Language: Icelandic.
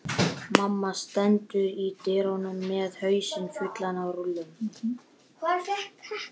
Mamma stendur í dyrunum með hausinn fullan af rúllum.